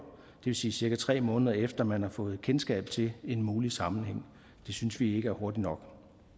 vil sige cirka tre måneder efter man har fået kendskab til en mulig sammenhæng det synes vi ikke er hurtigt nok